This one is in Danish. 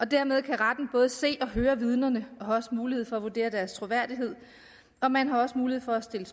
dermed kan retten både se og høre vidnerne og har også mulighed for at vurdere deres troværdighed og man har også mulighed for at stille